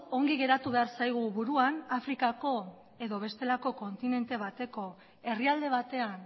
ongi geratu behar zaigu buruan afrikako edo bestelako kontinente bateko herrialde batean